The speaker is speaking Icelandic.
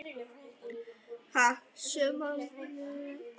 Sjö manna áhöfn slapp ómeidd.